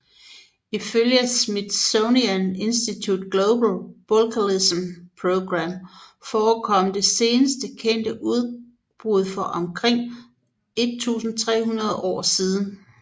Ifølge Smithsonian Institutions Global Volcanism Program forekom det seneste kendte udbrud for omkring 1300 år siden